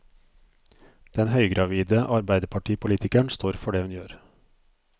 Den høygravide arbeiderpartipolitikeren står for det hun gjør.